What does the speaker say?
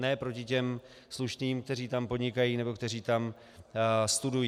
Ne proti těm slušným, kteří tam podnikají nebo kteří tam studují.